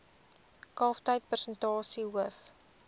kalftyd persentasie hoof